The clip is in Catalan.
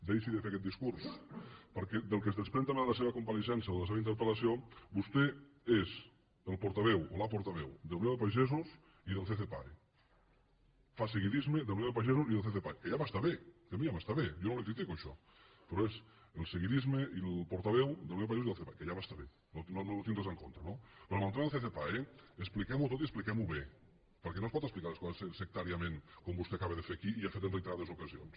deixi de fer aquest discurs perquè del que es desprèn també de la seva compareixença o de la seva interpel·vostè és el portaveu o la portaveu d’unió de pagesos i del ccpae fa seguidisme de la unió de pagesos i del ccpae que ja m’està bé que a mi ja m’està bé jo no li ho critico això però és el seguidisme i el portaveu de la unió de pagesos i del ccpae que ja m’està bé no hi tinc res en contra no però en el tema del ccpae expliquem ho tot i expliquem ho bé perquè no es pot explicar les coses sectàriament com vostè acaba de fer aquí i ha fet en reiterades ocasions